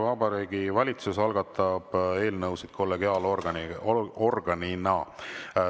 Vabariigi Valitsus algatab eelnõusid kollegiaalorganina.